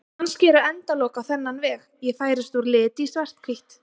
Kannski eru endalok á þennan veg: Ég færist úr lit í svarthvítt.